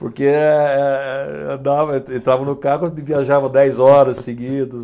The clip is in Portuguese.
Porque eh, eh, andava, en entrava no carro e viajava dez horas seguidos.